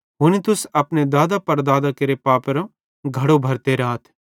हुनी तुस अपने दादेपड़दादां केरे पापेरे घड़ो भरते राथ